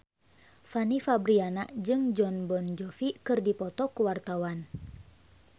Fanny Fabriana jeung Jon Bon Jovi keur dipoto ku wartawan